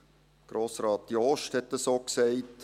Grossrat Jost hat das auch gesagt.